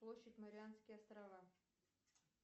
площадь марианские острова